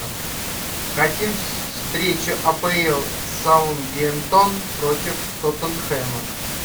хотим встречу апл саутгемптон против тоттенхэма